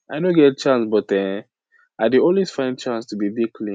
i no get chance but[um]i dey always find chance to dey dey clean